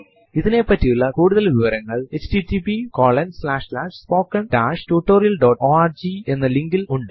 ഇതിനെപ്പറ്റിയുള്ള കൂടുതൽ വിവരങ്ങൾ താഴെ പറയുന്ന ലിങ്കിൽ ലഭ്യമാണ്